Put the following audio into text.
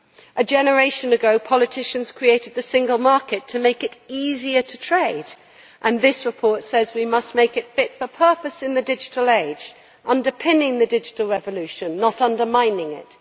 A generation ago, politicians created the single market to make it easier to trade. This report says we must make it fit for purpose in a digital age, underpinning the digital revolution not undermining it.